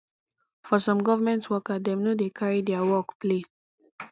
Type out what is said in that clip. for some government worker dem no dey carry their work play